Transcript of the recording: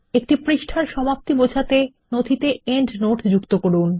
একটি পৃষ্ঠার সমাপ্তি বোঝাতে নথিতে পাদটীকা যোগ করুন